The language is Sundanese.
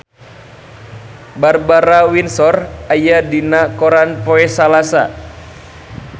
Barbara Windsor aya dina koran poe Salasa